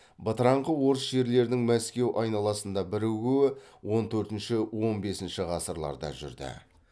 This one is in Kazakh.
бытыраңқы орыс жерлерінің мәскеу айналасында бірігуі он төртінші он бесінші ғасырларда жүрді